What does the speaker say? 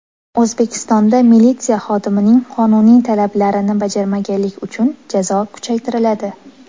O‘zbekistonda militsiya xodimining qonuniy talablarini bajarmaganlik uchun jazo kuchaytiriladi.